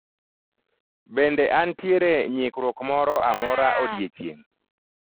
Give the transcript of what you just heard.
Bende antiere nyikruok moro amora odiechieng'?